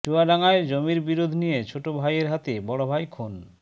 চুয়াডাঙ্গায় জমির বিরোধ নিয়ে ছোট ভাইয়ের হাতে বড় ভাই খুন